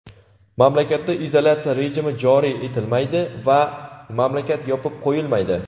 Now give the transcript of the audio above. mamlakatda izolyatsiya rejimi joriy etilmaydi va mamlakat yopib qo‘yilmaydi.